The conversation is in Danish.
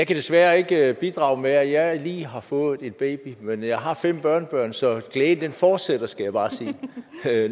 desværre ikke bidrage med at jeg lige har fået en baby men jeg har fem børnebørn så glæden fortsætter skal jeg bare sige